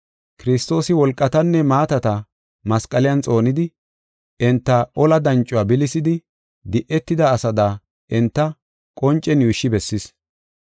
Kiristoosi wolqatanne maatata masqaliyan xoonidi, enta ola dancuwa bilisidi, di7etida asada enta qoncen yuushshi bessis.